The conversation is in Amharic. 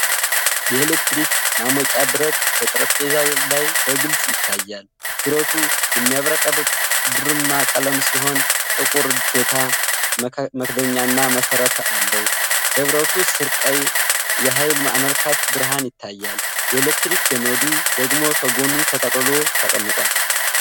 የኤሌክትሪክ ማሞቂያ ብረት በጠረጴዛ ላይ በግልጽ ይታያል። ብረቱ የሚያብረቀርቅ ብርማ ቀለም ሲሆን፣ ጥቁር እጀታ፣ መክደኛ እና መሠረት አለው። በብረቱ ስር ቀይ የኃይል አመልካች ብርሃን ይታያል፤ የኤሌክትሪክ ገመዱ ደግሞ ከጎኑ ተጠቅልሎ ተቀምጧል።